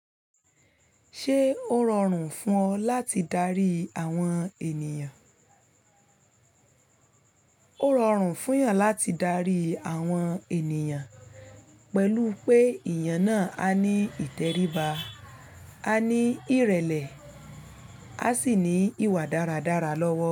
Ṣé ó rọrùn fún ọ láti darí àwọn ènìyàn? Ó rọrùn fún yàn láti darí àwọn ènìyàn pẹ̀lú pé ìyàn náà a ní ìtẹríba, a ní ìrẹ̀lẹ̀, a sì ní ìwà dáradára lọ́wọ́.